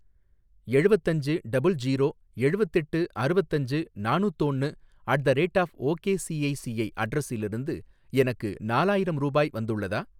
எழுவத்தஞ்சு double zero எழுவத்தெட்டு அறுவத்தஞ்சு நாணுத்தோன்னு at the rate of okay ICICI அட்ரஸிலிருந்து எனக்கு நாலாயிரம் ரூபாய் வந்துள்ளதா?